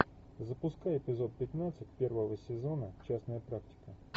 запускай эпизод пятнадцать первого сезона частная практика